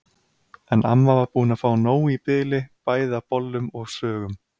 En amma var búin að fá nóg í bili bæði af bollum og sögum.